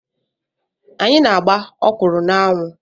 Anyị na-agba ọkwụrụ na-anwụ.